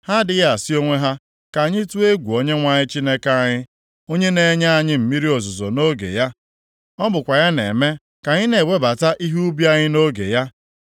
Ha adịghị asị onwe ha, ‘Ka anyị tụọ egwu Onyenwe anyị Chineke anyị, onye na-enye anyị mmiri ozuzo nʼoge ya, ọ bụkwa ya na-eme ka anyị na-ewebata ihe ubi anyị nʼoge ya.’